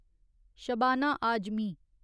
Shabana Azmi